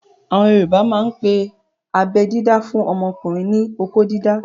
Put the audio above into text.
Àwọn yoòbá máa n pe abẹ́ dídá fún ọmọkùnrin ní "okó dídá"